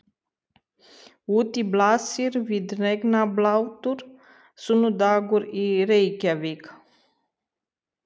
Úti blasir við regnblautur sunnudagur í Reykjavík.